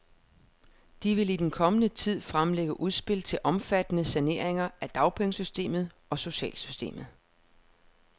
De vil i den kommende tid fremlægge udspil til omfattende saneringer af dagpengesystemet og socialsystemet.